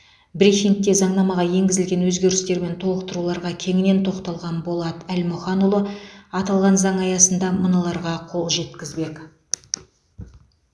брифингте заңнамаға енгізілген өзгерістер мен толықтыруларға кеңінен тоқталған болат әлмұханұлы аталған заң аясында мыналарға қол жеткізбек